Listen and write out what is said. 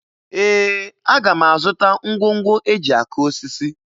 Ee, aga m azụta ngwongwo e ji akụ osisi